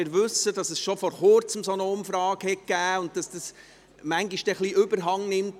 Wir wissen, dass es schon vor Kurzem eine solche Umfrage gab und dass das manchmal ein wenig überhandnimmt.